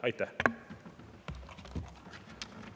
Aitäh!